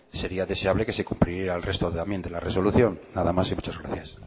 sería deseable que se cumpliera el resto también de la resolución nada más y muchas gracias